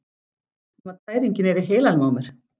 Nema tæringin er í heilanum á mér!